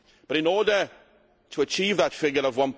But in order to achieve that figure of